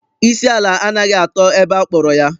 Isi ala anaghị atọ ebe akpọrọ ya.